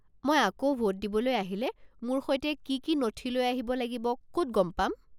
মই আকৌ ভোট দিবলৈ আহিলে মোৰ সৈতে কি কি নথি লৈ আহিব লাগিব ক'ত গম পাম?